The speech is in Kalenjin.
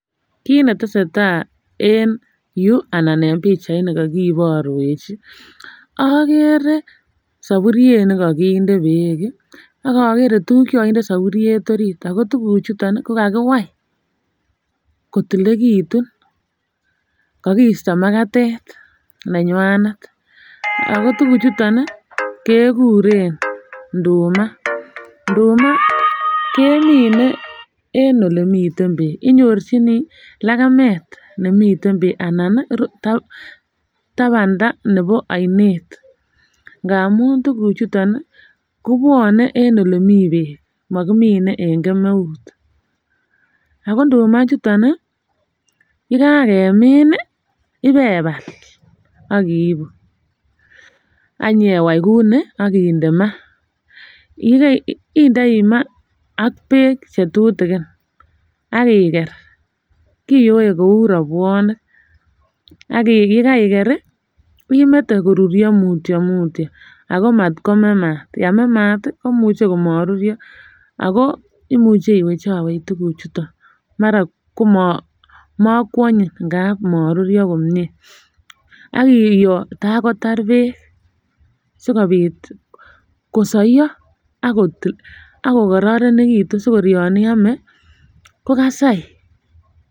Kit netesetai en yuu anan pichait ni kokiborwech ih okere soburiet nekokinde beek ak okere tuguk chekokinde soburiet orit ako tuguk chuton kokakiwai kotilikekitun, kokisto magatet nenywanet ako tuguk chuton ih kekuren nduma, nduma kemine en olemiten beek inyorchini legemet nemiten beek ana ko tabanda nebo oinet ngamun tuguk chuton ih kobwone en elemii beek mokimine en kemeut. Ako nduma ichuton ih yekakemin ih ibebal ak iibu ak inyewai kou ni ak inde maa. Yekei indoi maa ak beek chetutugin ak iker, kiyoe kou robwonik ak yekaiker ih imete koruryo mutyo mutyo ako mat kome yeme maat ih komuche komoruryo ako imuche iwechowech tuguk chuton mara mokwonyin ngap moruryo komie ak iyoo tar kotar beek sikobit kosoiyo ak kokororonekitu sikor yon iome kokasai